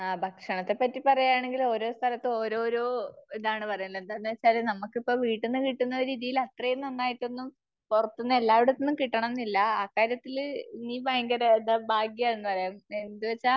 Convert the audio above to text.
ആ ഭക്ഷണത്തെ പറ്റി പറയാണെങ്കിൽ ഓരോ സ്ഥലത്ത് ഓരോരോ ഇതാണ് പറയാനുള്ളത്. എന്താണു വച്ചാൽ നമുക്കിപ്പോ വീട്ടിന്നു കിട്ടുന്ന രീതിയിൽ അത്രയും നന്നായിട്ടൊന്നും പുറത്തുന്നു എല്ലായിടത്ത് നിന്നും കിട്ടണമെന്നില്ല. ആ കാര്യത്തില് നീ ഭയങ്കര ഇത് ഭാഗ്യമാണെന്ന് പറയാം. എന്നു വച്ചാൽ